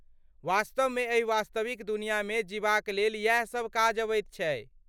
वास्तवमे एहि वास्तविक दुनियामे जीबाक लेल यैह सब काज अबैत छै।